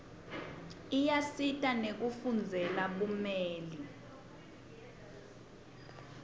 iyasisita nekufundzela bumeli